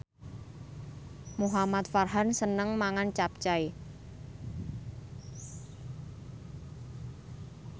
Muhamad Farhan seneng mangan capcay